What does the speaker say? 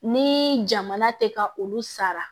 Ni jamana tɛ ka olu sara